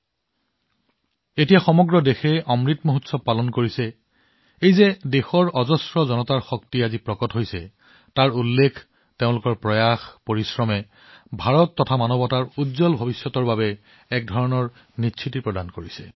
আৰু আজি যেতিয়া দেশখনে অমৃত মহোৎসৱ উদযাপন কৰি আছে ই এক প্ৰকাৰে জনশক্তি জনজনৰ শক্তি ইয়াৰ উল্লেখ ইয়াৰ প্ৰচেষ্টা ইয়াৰ কঠোৰ পৰিশ্ৰম ভাৰত আৰু মানৱতাৰ উজ্জ্বল ভৱিষ্যতৰ বাবে নিশ্চিত কৰে